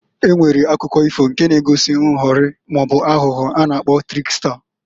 E nwere akụkọ ifo nke na-egosi nghọrị maọbụ aghụghọ a na-akpọ triksta.